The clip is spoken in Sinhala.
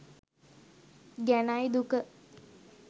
ගැනයි දුක.